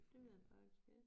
Det ved jeg faktisk ik